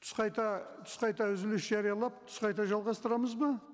түс қайта түс қайта үзіліс жариялап түс қайта жалғастырамыз ба